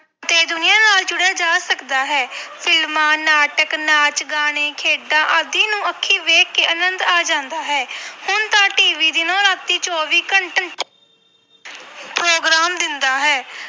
ਤੇ ਦੁਨੀਆਂ ਨਾਲ ਜੁੜਿਆ ਜਾ ਸਕਦਾ ਹੈ ਫਿਲਮਾਂ ਨਾਟਕ ਨਾਚ ਗਾਣੇ ਖੇਡਾਂ ਆਦਿ ਨੂੰ ਅੱਖੀ ਵੇਖ ਕੇ ਆਨੰਦ ਆ ਜਾਂਦਾ ਹੈ ਹੁਣ ਤਾਂ TV ਦਿਨੋਂ ਰਾਤੀ ਚੌਵੀ ਘੰ program ਦਿੰਦਾ ਹੈ।